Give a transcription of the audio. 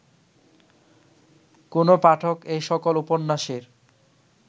কোন পাঠক এ সকল উপন্যাসের